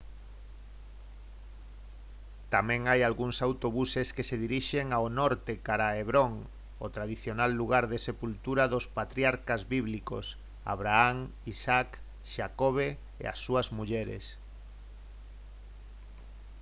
tamén hai algúns autobuses que se dirixen ao norte cara a hebron o tradicional lugar de sepultura dos patriarcas bíblicos abraham isaac xacobe e as súas mulleres